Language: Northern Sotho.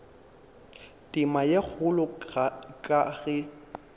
tema ye kgolo ka ge